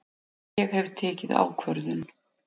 Ég hef tekið ákvörðun!